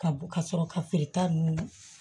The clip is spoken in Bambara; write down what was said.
Ka bɔ ka sɔrɔ ka feereta ninnu